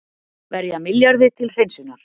Verja milljarði til hreinsunar